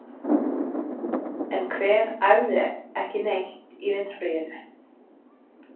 En hver æfði ekki neitt í vetrarfríinu?